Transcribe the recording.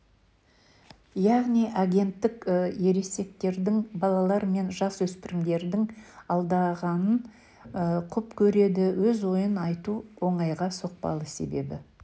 яғни агенттік ересектердің балалар мен жасөспірімдерді алдағанын құп көреді өз ойын айту оңайға соқпады себебі